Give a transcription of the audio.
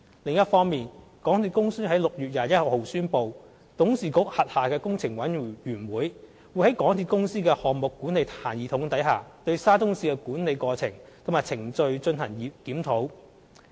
另一方面，港鐵公司於6月21日宣布，董事局轄下的工程委員會，會在港鐵公司的項目管理系統下，對沙中線的管理過程和程序進行檢討。